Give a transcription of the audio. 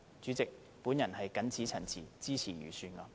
主席，我謹此陳辭，支持預算案。